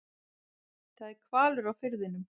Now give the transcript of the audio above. Það er hvalur á firðinum.